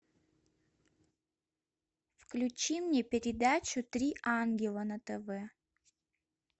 включи мне передачу три ангела на тв